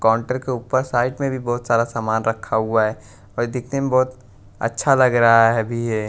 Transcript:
counter के ऊपर side में भी बहुत सारा सामान रखा हुआ है और देखने में बहुत अच्छा लग रहा है अभी यह--